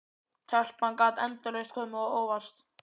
Telpan gat endalaust komið á óvart.